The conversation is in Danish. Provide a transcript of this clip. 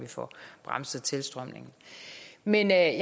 få bremset tilstrømningen men jeg